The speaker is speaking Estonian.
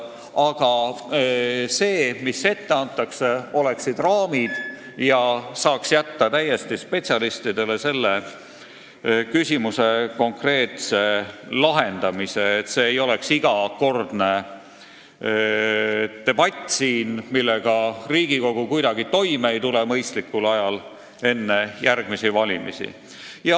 Aga ette antaks raamid ja selle konkreetse küsimuse lahendamise saaks jätta täiesti spetsialistidele, nii et siin ei oleks iga kord debatti, millega Riigikogu mõistlikul ajal enne järgmisi valimisi kuidagi toime ei tule.